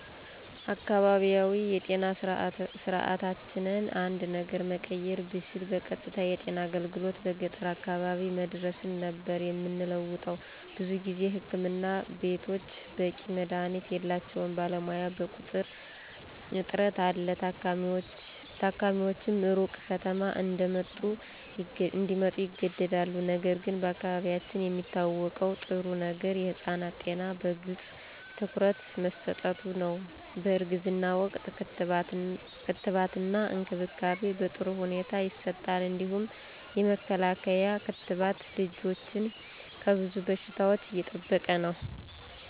አካባቢያዊ የጤና ስርዓታችንን አንድ ነገር መቀየር ብችል በቀጥታ የጤና አገልግሎት በገጠር አካባቢ መዳረስን ነበር የምንለውጠው። ብዙ ጊዜ ህክምና ቤቶች በቂ መድሀኒት የላቸውም፣ ባለሙያ በቁጥር እጥረት አለ፣ ታካሚዎችም ሩቅ ከተማ እንዲመጡ ይገደዳሉ። ነገር ግን በአካባቢያችን የሚታወቀው ጥሩ ነገር የህፃናት ጤና በግልጽ ትኩረት መሠጠቱ ነው፣ በእርግዝና ወቅት ክትባትና እንክብካቤ በጥሩ ሁኔታ ይሰጣል። እንዲሁም የመከላከያ ክትባት ልጆችን ከብዙ በሽታዎች እየጠበቀ ነው።